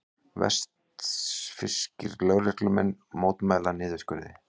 Vestfirskir lögreglumenn mótmæla niðurskurði